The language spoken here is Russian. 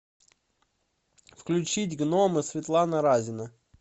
включить гномы светлана разина